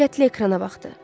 Diqqətlə ekrana baxdı.